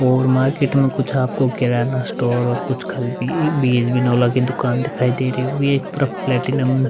और मार्किट में कुछ आपको की दुकान दिखाई दे रही होगी एक तरफ प्लैटिनम --